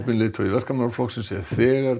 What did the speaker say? leiðtogi Verkamannaflokksins hefur þegar